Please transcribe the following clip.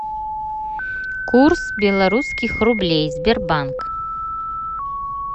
курс белорусских рублей сбербанк